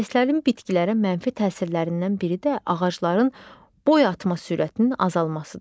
İES-lərin bitkilərə mənfi təsirlərindən biri də ağacların boyatma sürətinin azalmasıdır.